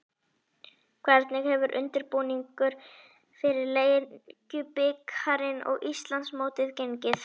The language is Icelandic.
Hvernig hefur undirbúningur fyrir Lengjubikarinn og Íslandsmótið gengið?